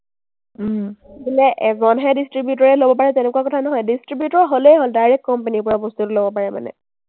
বোলে এজনহে distributor এ ল’ব পাৰে, তেনেকুৱা কথা নহয়। distributor হ’লেই হ’ল, direct company ৰ পৰা বস্তুটো ল’ব পাৰে মানে।